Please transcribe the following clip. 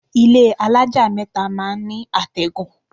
Ilé alájà mẹ́ta máa ń ní àtẹ̀gùn.